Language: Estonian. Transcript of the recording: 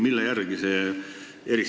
Millest selline eristus?